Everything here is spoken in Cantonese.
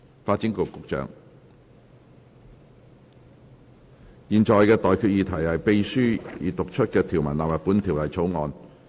我現在向各位提出的待決議題是：秘書已讀出的條文納入本條例草案。